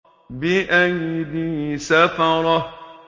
بِأَيْدِي سَفَرَةٍ